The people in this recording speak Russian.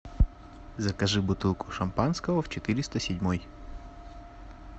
закажи бутылку шампанского в четыреста седьмой